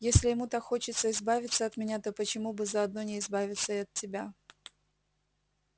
если ему так хочется избавиться от меня то почему бы заодно не избавиться и от тебя